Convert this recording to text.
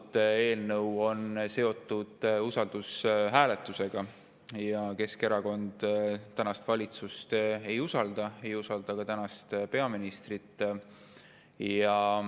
… et see eelnõu on seotud usaldushääletusega, aga Keskerakond ametis olevat valitsust ei usalda, ei usalda ka peaministrit.